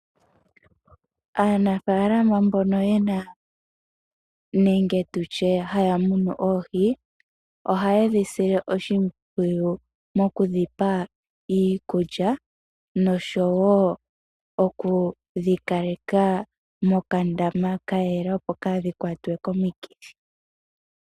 Aanafaalama mbono yena nenge tutye haya munu oohi ohaye dhi sile oshimpwiyu nokudhipa iikulya noshowo okudhi kaleka mokandama kayela opo kaadhi kwatwe komikithi.